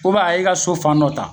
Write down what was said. a y'i ka so fan nɔ ta